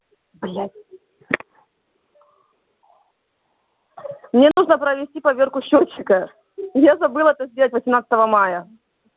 блять мне нужно провести поверку счётчика я забыла это сделать восемнадцатого моя